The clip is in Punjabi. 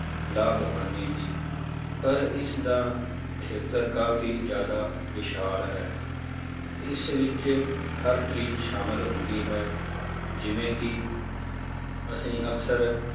ਲਾਭ ਹਾਨੀ ਦੀ ਪਰ ਇਸਦਾ ਖੇਤਰ ਕਾਫ਼ੀ ਜ਼ਿਆਦਾ ਵਿਸ਼ਾਲ ਹੈ, ਇਸ ਵਿੱਚ ਹਰ ਚੀਜ਼ ਸ਼ਾਮਿਲ ਹੁੰਦੀ ਹੈ ਜਿਵੇਂ ਕਿ ਅਸੀਂ ਅਕਸਰ